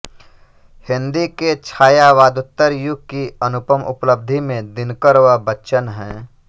हिन्दी के छायावादोत्तर युग की अनुपम उपलब्धि में दिनकर व बच्चन हैं